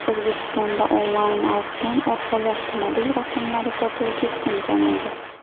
O‘zbekistonda onlayn auksion orqali avtomobil raqamlari sotuvi keskin kamaydi.